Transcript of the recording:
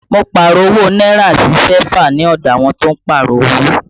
Mo Pààrọ̀ owó náírà sí sẹ́fà ní ọdọ àwọn tó ń Pààrọ̀ owó